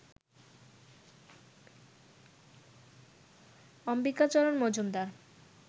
Ambikacharan Majumdar